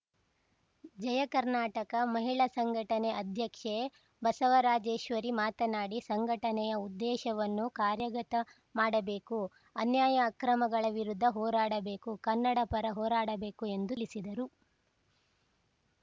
ಜಯಕರ್ನಾಟಕ ಮಹಿಳಾ ಸಂಘಟನೆ ಅಧ್ಯಕ್ಷೆ ಬಸವರಾಜೇಶ್ವರಿ ಮಾತನಾಡಿ ಸಂಘಟನೆಯ ಉದ್ದೇಶವನ್ನು ಕಾರ್ಯಗತ ಮಾಡಬೇಕು ಅನ್ಯಾಯ ಅಕ್ರಮಗಳ ವಿರುದ್ಧ ಹೋರಾಡಬೇಕು ಕನ್ನಡಪರ ಹೋರಾಡಬೇಕು ಎಂದು ತಿಳಿಸಿದರು